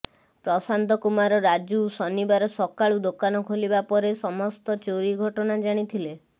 ପ୍ରଶାନ୍ତ କୁମାର ରାଜୁ ଶନିବାର ସକାଳୁ ଦୋକାନ ଖୋଲିବା ପରେ ସମସ୍ତ ଚୋରି ଘଟଣା ଜାଣିଥିଲେ